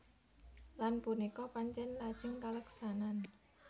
Lan punika pancèn lajeng kaleksanan